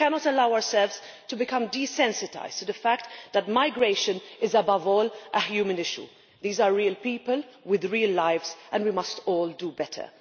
We cannot allow ourselves to become desensitised to the fact that migration is, above all, a human issue. These are real people with real lives, and we must all do better.